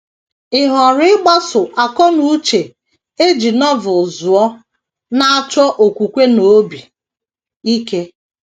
Ịhọrọ ịgbaso akọ na uche e ji Novel zụọ na - achọ okwukwe na obi ike.